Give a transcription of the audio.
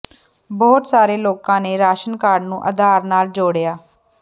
ਬਹੁਤ ਸਾਰੇ ਲੋਕਾਂ ਨੇ ਰਾਸ਼ਨ ਕਾਰਡ ਨੂੰ ਆਧਾਰ ਨਾਲ ਜੋੜਿਆ